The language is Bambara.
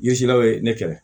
Yezel'aw ye ne kɛlɛ